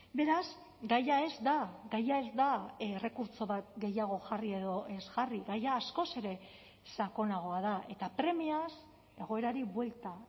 beraz gaia ez da gaia ez da errekurtso bat gehiago jarri edo ez jarri gaia askoz ere sakonagoa da eta premiaz egoerari buelta